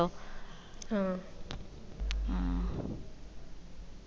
ആ ആ